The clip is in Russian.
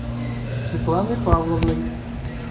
светланой павловной